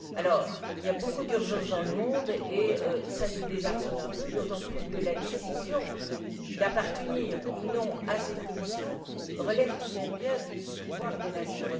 Alors, il y a beaucoup d'urgences dans le monde, et cela nous désarçonne un peu, d'autant plus que la décision d'appartenir ou non à cette commission relève tout de même bien du pouvoir des nations.